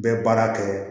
Bɛ baara kɛ